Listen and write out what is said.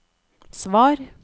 svar